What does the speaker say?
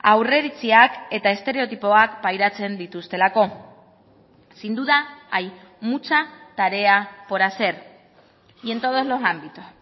aurreiritziak eta estereotipoak pairatzen dituztelako sin duda hay mucha tarea por hacer y en todos los ámbitos